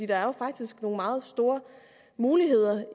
er jo faktisk nogle meget store muligheder